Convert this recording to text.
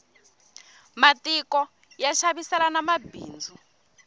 matiko ya xaviselana mabindzu